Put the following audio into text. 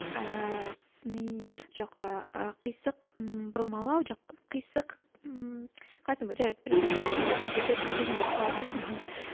ііі сыни жоқ ыыы қисық ммм бұрмалау жоқ қисық ммм қалай айтсам болады жарайды предисловие предупреждение болып қала берсін мхм